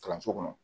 Kalanso kɔnɔ